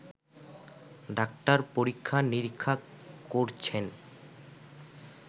doctor পরীক্ষা-নিরীক্ষা করছেন